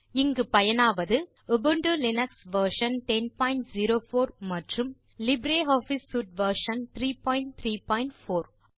இங்கு பயனாவாது Ubuntu Linux version 1004 மற்றும் லிப்ரியாஃபிஸ் சூட் வெர்ஷன் 334